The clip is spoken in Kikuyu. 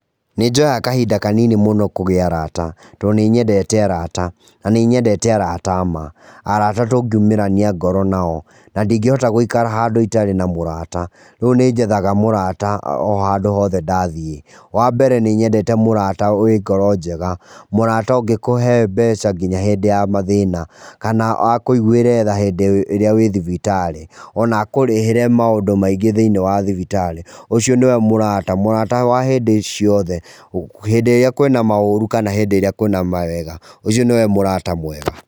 Nĩ njoyaga kahinda kanini mũno kũgĩa arata, tondũ nĩ nyendete arata, na nĩ nyendete arata a ma. Arata tũngiũmĩrania ngoro nao. Na ndingĩhota gũikara handũ itarĩ na mũrata. Rĩu nĩ njethaga mũrata o handũ hothe ndathiĩ. Wa mbere nĩ nyendete mũrata wĩ ngoro njega. Mũrata ũngĩkũhe mbeca nginya hindĩ ya mathĩna, kana akũigũĩra tha hĩndĩ ĩria wĩ thibitarĩ, o na akũrĩhĩre maũndũ maingĩ thĩinĩ wa thibitarĩ. Ũcio nĩ we mũrata, mũrata wa hĩndĩ ciothe. Hindĩ ĩrĩa kwĩna maũru kana hĩndĩ ĩrĩa kwĩna mawega, ũcio nĩ we mũrata mwega.